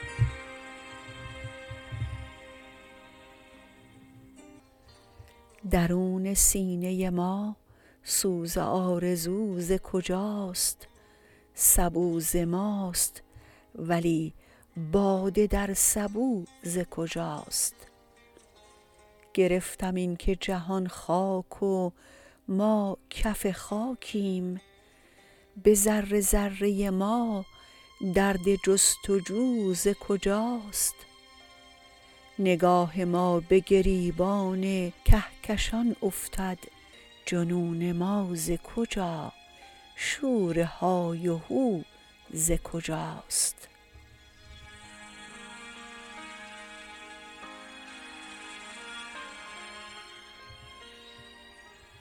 درون سینه ما سوز آرزو ز کجاست سبو ز ماست ولی باده در سبو ز کجاست گرفتم اینکه جهان خاک و ما کف خاکیم به ذره ذره ما درد جستجو ز کجاست نگاه ما به گریبان کهکشان افتد جنون ما ز کجا شور های و هو ز کجاست